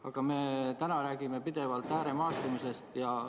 Aga täna me räägime pidevalt ääremaastumisest.